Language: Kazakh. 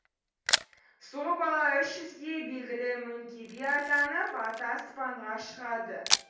сол бала үш жүзге белгілі мөңке би атанып аты аспанға шығады